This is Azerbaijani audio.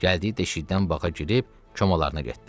Gəldiyi deşikdən baqa girib komalarına getdi.